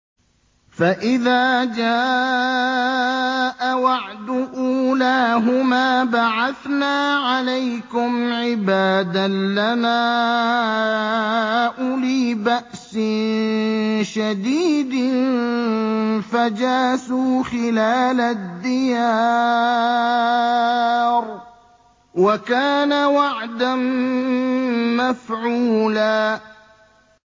فَإِذَا جَاءَ وَعْدُ أُولَاهُمَا بَعَثْنَا عَلَيْكُمْ عِبَادًا لَّنَا أُولِي بَأْسٍ شَدِيدٍ فَجَاسُوا خِلَالَ الدِّيَارِ ۚ وَكَانَ وَعْدًا مَّفْعُولًا